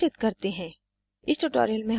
इसे सारांशित करते हैं